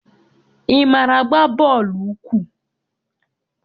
Ị maara agba bọọlụ ụkwụ?